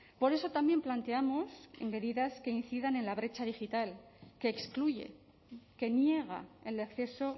por eso también planteamos medidas que incidan en la brecha digital que excluye que niega el acceso